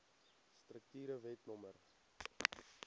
strukture wet no